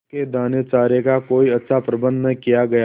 उसके दानेचारे का कोई अच्छा प्रबंध न किया गया